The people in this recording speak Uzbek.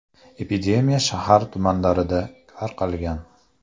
Epidemiya shahar tumanlarida tarqalgan.